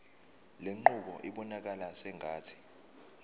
lenqubo ibonakala sengathi